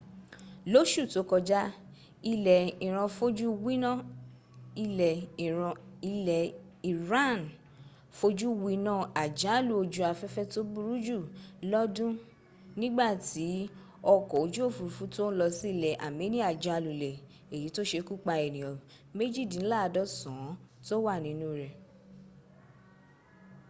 lóṣù tó kọjá ilẹ̀ iran fojú winná àjálù ojú afẹ́fẹ́ tó burú jù lọ́dún nígbàtí ọkọ̀ ojú òfúrufú tó ń lọ sí ilẹ̀ armenia já lulẹ̀ èyí tó sekúpa ènìyàn méjìdínláàdọ́sàn án tó wà nínú rẹ̀